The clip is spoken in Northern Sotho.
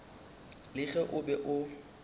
le ge o be o